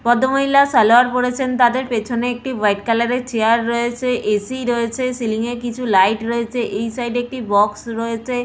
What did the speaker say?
ভদ্রমহিলা সালোয়ার পরেছেন তাদের পেছনে একটি হোয়াইট কালারের চেয়ার রয়েছে এ .সি. রয়েছে সিলিং একটি লাইট রয়েছে এই সাইড একটি বক্স রয়েছে।